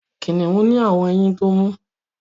kiniun ni awọn ẹyìn tó mú